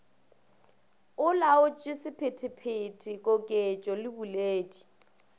olaotše sephetephete koketšo le boledi